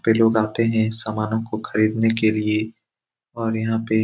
यहाँ पे लोग आते है सामानों को खरीदने के लिए और यहाँ पे --